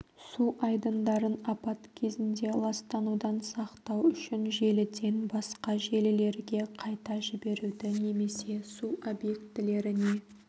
су айдындарын апат кезінде ластанудан сақтау үшін желіден басқа желілерге қайта жіберуді немесе су объектілеріне